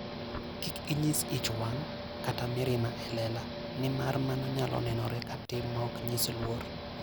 Kik inyis ich wang' kata mirima e lela, nimar mano nyalo nenore ka tim maok nyis luor.